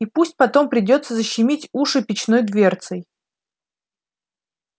и пусть потом придётся защемить уши печной дверцей